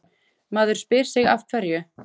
Maður spyr sig af hverju?